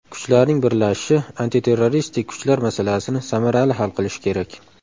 Kuchlarning birlashishi antiterroristik kuchlar masalasini samarali hal qilishi kerak.